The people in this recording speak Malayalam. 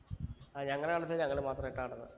ആ ഞങ്ങളെ കണ്ടത്തിൽ ഞങ്ങൾ മാത്രായിട്ടാ നടുന്നെ